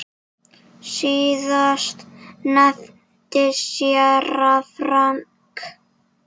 Síðast nefndi séra Frank